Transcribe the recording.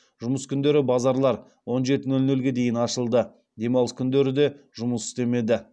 жұмыс күндері базарлар он жеті нөл нөлге дейін ашылды демалыс күндері де жұмыс істемеді